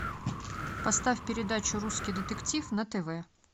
поставь передачу русский детектив на тв